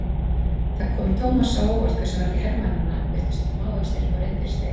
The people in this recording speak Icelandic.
Það kom Thomas á óvart hversu margir hermannanna virtust smávaxnir og rindilslegir.